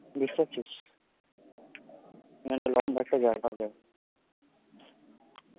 বুঝতে পারছিস? এখানটা একটা লম্বা একটা জায়গা হয়ে যাবে